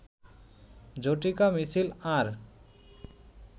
ঝটিকা মিছিল আর